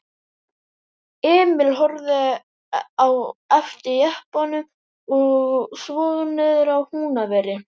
Emil horfði á eftir jeppanum og svo niðrað Húnaveri.